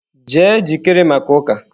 Jee jikere maka uka!.